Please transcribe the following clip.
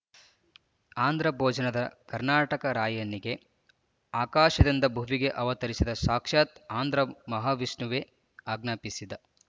ಆಂಧ್ರ ಭೋಜನಾದ ಕರ್ನಾಟಕ ರಾಯನಿಗೆ ಆಕಾಶದಿಂದ ಭುವಿಗೆ ಅವತರಿಸಿದ ಸಾಕ್ಷತ್ ಆಂಧ್ರ ಮಹಾವಿಷ್ಣುವೇ ಅಜ್ಞಾಪಿಸಿದ